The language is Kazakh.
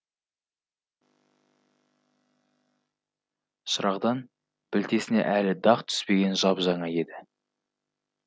шырағдан білтесіне әлі дақ түспеген жап жаңа еді